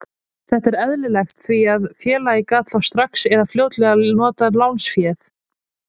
Þetta er eðlilegt því að félagið gat þá strax eða fljótlega notað lánsféð.